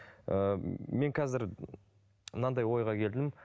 ыыы мен қазір мынандай ойға келдім